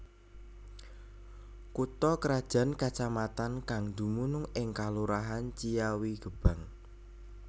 Kutha krajan kacamatan kang dumunung ing kalurahan Ciawigebang